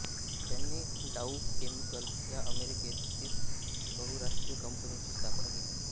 यांनी Dow Chemical या अमेरिकेत स्थित बहुराष्ट्रीय कंपनीची स्थापना केली